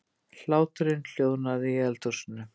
Hláturinn hljóðnaði í eldhúsinu.